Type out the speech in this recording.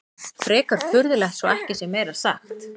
Frekar furðulegt svo ekki sé meira sagt.